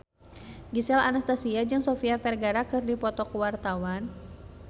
Gisel Anastasia jeung Sofia Vergara keur dipoto ku wartawan